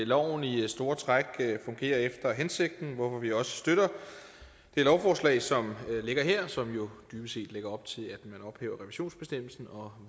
loven i store træk fungerer efter hensigten hvorfor vi også støtter det lovforslag som ligger her og som jo dybest set lægger op til at man ophæver revisionsbestemmelsen og